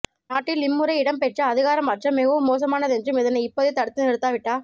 நாட்டில் இம்முறை இடம்பெற்ற அதிகார மாற்றம் மிகவும் மோசமானதென்றும் இதனை இப்போதே தடுத்து நிறுத்தாவிட்டா